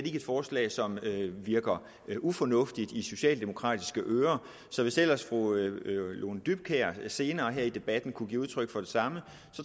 er et forslag som virker ufornuftigt i socialdemokratiske ører så hvis ellers fru lone dybkjær senere her i debatten kunne give udtryk for det samme